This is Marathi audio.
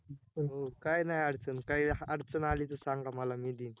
हो! काय नाय अडचण, काही अडचण आली तर सांगा मला, मी देईन